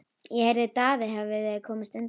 Ég heyrði að Daði hefði komist undan.